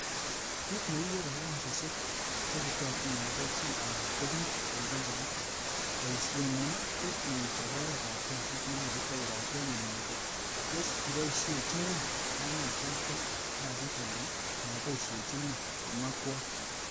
'Kit neikere ko kasisiek chebutotin agobo chi alan ko bik en kompunit...boishiengu ko mo ichob oretab kasit nekibutok kobaten inai ile tos kiboisiechingo oranoton bo kasit anan ko moboisiechin ng'o,''kimwa kwony